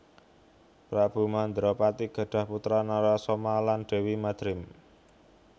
Prabu Mandrapati gadhah putra Narasoma lan Déwi Madrim